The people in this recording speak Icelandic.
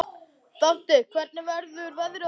Dante, hvernig verður veðrið á morgun?